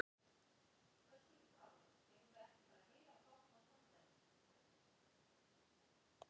Við meðferð einkamála gilda ákveðnar meginreglur sem málsaðilum ber að fara eftir.